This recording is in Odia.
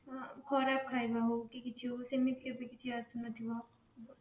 ଆଁ ଖରାପ ଖାଇବା ହଉ କି କିଛି ହଉ କି କିଛି ହଉ ସେମତି କିଛି ଆସୁନଥିବ ଆଉ